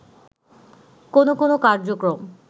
কোনো কোনো কার্যক্রম